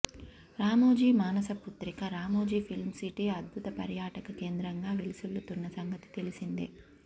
రామోజీ మానస పుత్రిక రామోజీ ఫిల్మ్సిటీ అద్భుత పర్యాటక కేంద్రంగా విరసిల్లుతున్న సంగతి తెలిసిందే